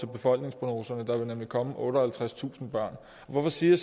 befolkningsprognoserne der vil nemlig komme otteoghalvtredstusind børn hvorfor siger